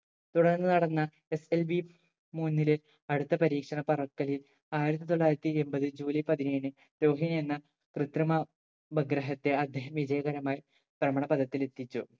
തുടർന്ന് നടന്ന SLV മൂന്നില് അടുത്ത പരീക്ഷണ പറക്കലിൽ ആയിരത്തി തൊള്ളായിരത്തി എമ്പത് ജൂലൈ പതിനേഴിന് രോഹിണി എന്ന കൃത്രിമ ഉപഗ്രഹത്തെ അദ്ദേഹം വിജയകരമായി ഭ്രമണപദത്തിൽ എത്തിച്ചു